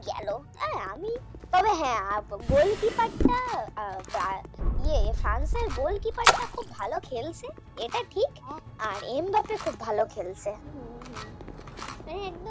এই গেল আমি তবে হ্যাঁ Goal Keeper টা আহ আহ ফ্রান্সের Goal Keeper টা খুব ভালো খেলছে এটা ঠিক খুব ভালো খেলছে।